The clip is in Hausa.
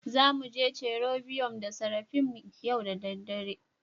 Za mu je cherobium da seraphim yau da dare